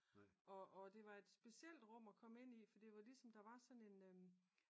Og det var et specielt rum at komme ind i fordi der var ligesom der var sådan en